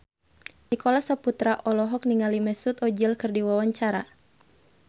Nicholas Saputra olohok ningali Mesut Ozil keur diwawancara